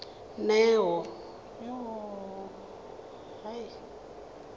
neo